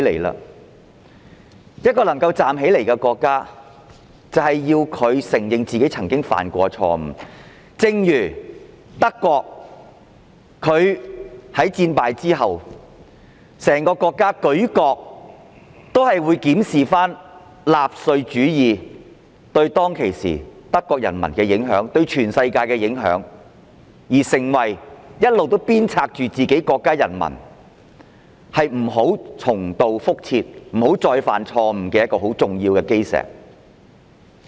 然而，一個可以站起來的國家，應當承認自己曾經犯下的錯誤，正如德國在戰敗後，舉國檢視納粹主義對當時的德國人民和全世界的影響，成為一直鞭策自己國民不再重蹈覆轍的重要基石。